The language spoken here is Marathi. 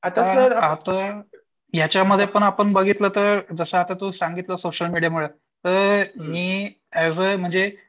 आता याच्यामध्ये पण आपण बघितलं तर जसं आता तू सांगितलं सोशल मीडियामुळे तर मी म्हणजे